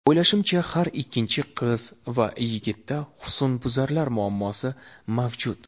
O‘ylashimcha, har ikkinchi qiz va yigitda husnbuzarlar muammosi mavjud.